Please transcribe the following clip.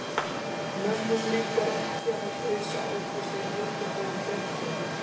Mömmu líkar ekki að gusa út úr sér mikilvægum fréttum.